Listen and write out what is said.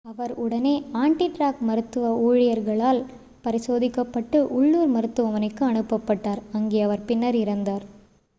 அவர் உடனே ஆன்-டிராக் மருத்துவ ஊழியர்களால் பரிசோதிக்கப்பட்டு உள்ளூர் மருத்துவமனைக்கு அனுப்பப் பட்டார் அங்கே அவர் பின்னர் இறந்தார்